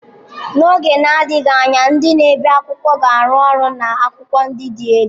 N'oge na-adịghị anya, ndị na-ebi akwụkwọ ga-arụ ọrụ na akwụkwọ ndị dị elu.